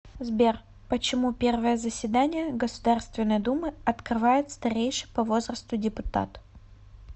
сбер почему первое заседание государственной думы открывает старейший по возрасту депутат